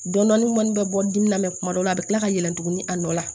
Dɔnnin kɔni bɛ bɔ dimi na mɛ kuma dɔw la a bɛ tila ka yɛlɛ tugun a nɔ la